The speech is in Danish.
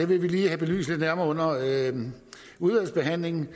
vil vi lige have belyst lidt nærmere under udvalgsbehandlingen